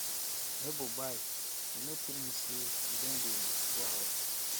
nebor bye you no tell me sey you don dey go house